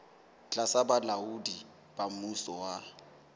tlasa bolaodi ba mmuso wa